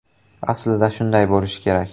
Aslida shunday bo‘lishi kerak.